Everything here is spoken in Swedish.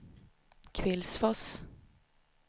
Kvillsfors